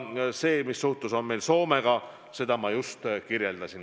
Seda, mis suhtlus on meil Soomega, ma just kirjeldasin.